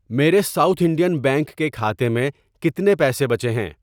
میرے South Indian Bank کے کھاتے میں کتنے پیسے بچے ہیں؟